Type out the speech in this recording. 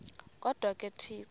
kodwa ke uthixo